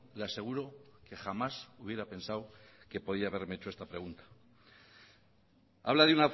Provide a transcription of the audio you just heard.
le aseguro que jamás hubiera pensado que podía haberme hecho esta pregunta habla de